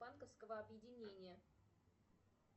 банковского объединения